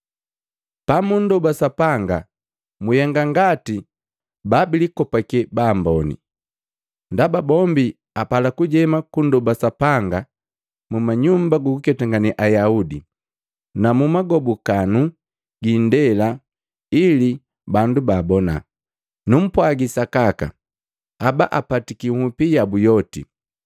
“Pamundoba Sapanga, mwihenga ngati babilikopake baamboni. Ndaba bombi apala kujema kundoba Sapanga mu manyumba gukuketangane Ayaudi na mumagobukanu giindeela ili bandu baabona. Numpwagi sakaka, haba apatiki nhupi yabu yoti.